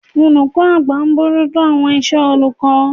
olukọ àgbá bojuto awọn isé olukọ